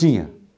Tinha.